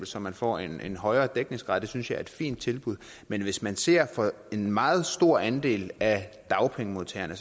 så man får en højere dækningsgrad det synes jeg er et fint tilbud men hvis man ser på en meget stor andel af dagpengemodtagerne